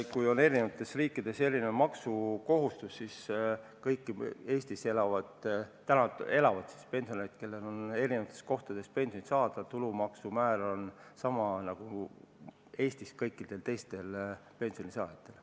Kui eri riikides on erinev maksukohustus, siis kõigil Eestis elavatel pensionäridel, kes saavad eri kohtadest pensioni, on tulumaksu määr samasugune nagu kõikidel teistel Eesti pensionisaajatel.